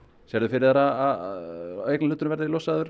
sérðu fyrir þér að eignarhluturinn verði losaður